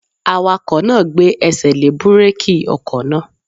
Awakọ̀ náà gbé ẹsẹ̀ lé búrèkì ọkọ̀ náà